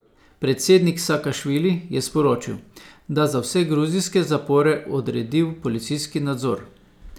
Predsednik Sakašvili je sporočil, da za vse gruzijske zapore odredil policijski nadzor.